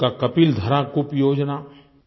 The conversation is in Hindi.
उनका कपिलधारा कूप योजना